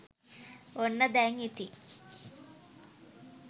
ඔන්න දැන් ඉතින්